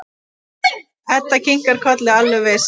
Edda kinkar kolli, alveg viss.